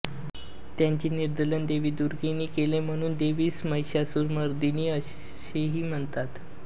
त्याचे निर्दालन देवी दुर्गेने केले म्हणून देवीस महिषासुरमर्दिनी असेही म्हणतात